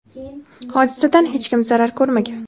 Hodisadan hech kim zarar ko‘rmagan.